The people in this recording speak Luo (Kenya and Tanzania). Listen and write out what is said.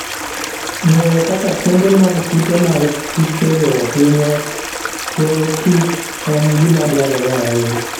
Ng'eyo kaka kembe mag kute mag kutego hinyo chwoyokich en gima dwarore ahinya.